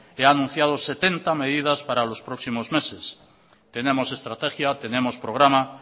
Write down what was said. he anunciado setenta medidas para los próximos meses tenemos estrategia tenemos programa